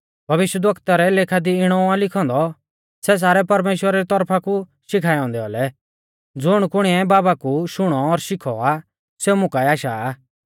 भविष्यवक्ता रै लेखा दी इणौ आ लिखौ औन्दौ सै सारै परमेश्‍वरा री तौरफा कु शिखाऐ औन्दै औलै ज़ुणकुणिऐ बाबा कु शुणौ और शिखौ आ सेऊ मुं काऐ आशा आ